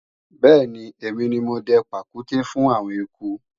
bẹ́ẹ̀ni, èmi ni mo dẹ pàkúté fún àwọn eku